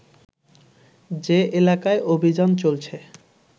যে এলাকায় অভিযান চলছে